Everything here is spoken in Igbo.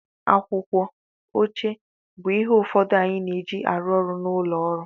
Akwụkwọ, oche bụ ihe ụfọdụ anyị na-eji arụ ọrụ n'ụlọ ọrụ